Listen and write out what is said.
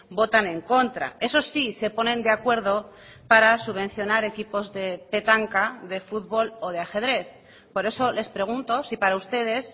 votan en contra eso sí se ponen de acuerdo para subvencionar equipos de petanca de fútbol o de ajedrez por eso les pregunto si para ustedes